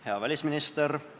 Hea välisminister!